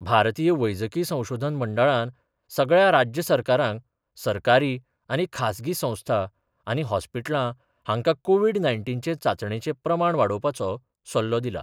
भारतीय वैजकी संशोधन मंडळान सगळ्या राज्य सरकारांक सरकारी आनी खासगी संस्था आनी हॉस्पिटलां हांका कोविड नाय्नटीनचे चांचणेचे प्रमाण वाडोवपाचो सल्लो दिला.